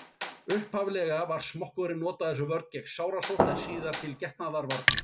Upphaflega var smokkurinn notaður sem vörn gegn sárasótt en síðar til getnaðarvarna.